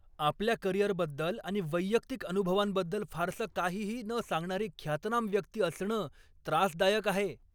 आपल्या करिअरबद्दल आणि वैयक्तिक अनुभवांबद्दल फारसं काहीही न सांगणारी ख्यातनाम व्यक्ती असणं त्रासदायक आहे.